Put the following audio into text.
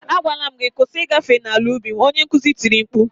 Agwala m gị "kwụsị ịgafe n'ala ubi m" onye nkuzi tiri mkpu